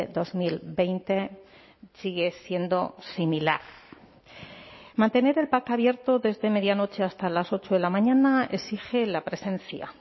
dos mil veinte sigue siendo similar mantener el pac abierto desde medianoche hasta las ocho de la mañana exige la presencia